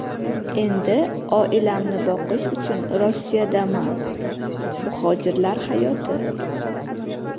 Endi oilamni boqish uchun Rossiyadaman” - Muhojirlar hayoti.